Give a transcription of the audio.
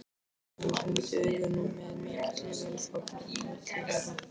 Mamma hans renndi augunum með mikilli velþóknun á milli þeirra.